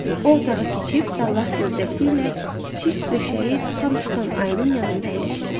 O otağa keçib sallaq gövdəsi ilə kiçik döşəyi tam tutan ayının yanında əyləşirdi.